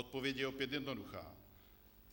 Odpověď je opět jednoduchá.